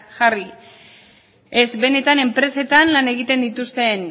jarri ez benetan enpresetan lan egiten dituzten